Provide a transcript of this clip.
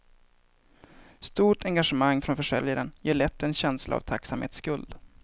Stort engagemang från försäljaren ger lätt en känsla av tacksamhetsskuld.